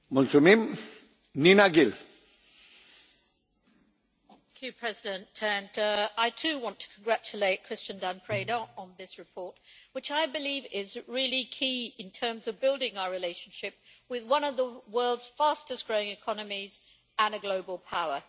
Mr President, I too want to congratulate Cristian Dan Preda on this report, which I believe is really key in terms of building our relationship with one of the world's fastest growing economies and a global power.